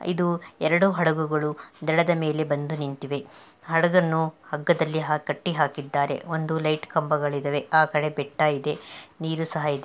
ಇದು ಎರಡು ಹಡಗುಗಳು ದಡದ ಮೇಲೆ ಬಂದು ನಿಂತಿವೆ ಹಡಗನ್ನು ಹಗ್ಗದಲ್ಲಿ ಹಾಕಿ ಕಟ್ಟಿ ಹಾಕಿದ್ದಾರೆ ಒಂದು ಲೈಟ್ ಕಂಬಗಳು ಇದವೇ ಆಕಡೆ ಬೆಟ್ಟ ಇದೆ ನೀರು ಸಹ ಇದೆ.